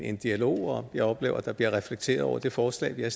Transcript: en dialog og jeg oplever at der bliver reflekteret over det forslag vi har